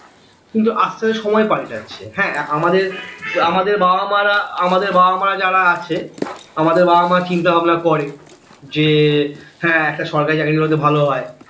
কিন্তু আস্তে আস্তে সময় পাল্টাচ্ছে হ্যাঁ আমাদের আমাদের বাবা মা রা আমাদের বাবা মা রা যারা আছে আমাদের বাবা মা চিন্তা ভাবনা করে যে হ্যাঁ একটা সরকারি চাকরী করলে তো ভালো হয়